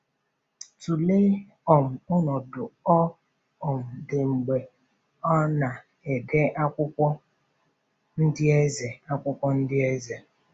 Tụlee um ọnọdụ ọ um dị mgbe ọ na-ede akwụkwọ Ndị Eze. akwụkwọ Ndị Eze.